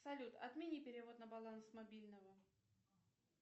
салют отмени перевод на баланс мобильного